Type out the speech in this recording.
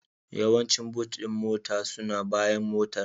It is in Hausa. Yawancin Boot ɗin mota suna bayan Motar